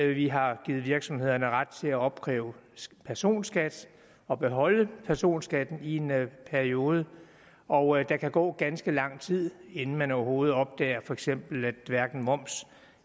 vi har givet virksomhederne ret til at opkræve personskat og beholde personskatten i en periode og der kan gå ganske lang tid inden man overhovedet opdager at for eksempel hverken moms